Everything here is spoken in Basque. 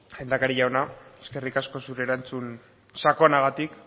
lehendakari jauna eskerrik asko zure erantzun sakonagatik